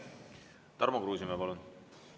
Tarmo Kruusimäe, palun!